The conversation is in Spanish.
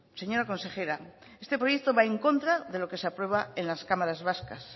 señora consejera este proyecto va en contra de lo que se aprueba en las cámaras vascas